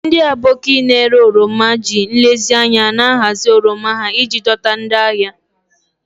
Ndị Aboki na-ere oroma ji nlezianya na-ahazi oroma ha iji dọta ndị ahịa.